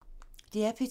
DR P2